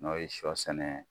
N'o ye sɔ sɛnɛ